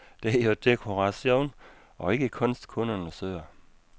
Det er jo dekoration, og ikke kunst, kunderne søger.